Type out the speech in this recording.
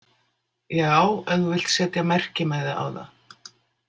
Já, ef þú vilt setja merkimiða á það.